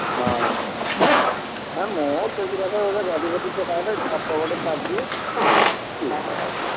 ହଁ, ହେ ମୁଁ ସେଗୁରାକ ଗଦି ଫଦି ପକାଏନି ସପ ଗୋଟେ ପରିଦିଏ, ମୁଁ ଶୁଏ ଗଲା।